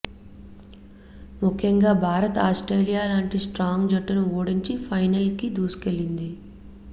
ముఖ్యంగా భారత్ ఆస్ట్రేలియా లాంటి స్ట్రాంగ్ జట్టును ఓడించి ఫైనల్ కి దూసుకెళ్లింది